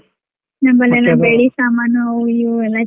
ನಮ್ಮಲೆಲ್ಲ ಬೆಳ್ಳಿ ಸಾಮಾನು ಆವು ಇವು ಎಲ್ಲಾ.